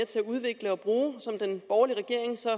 til at udvikle og bruge og som den borgerlige regering så